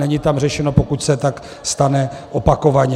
Není tam řešeno, pokud se tak stane opakovaně.